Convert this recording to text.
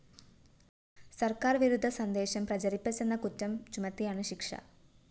സര്‍ക്കാര്‍ വിരുദ്ധ സന്ദേശം പ്രചരിപ്പിച്ചെന്ന കുറ്റം ചുമത്തിയാണ് ശിക്ഷ